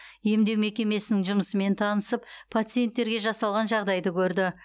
емдеу мекемесінің жұмысымен танысып пациенттерге жасалған жағдайды көрді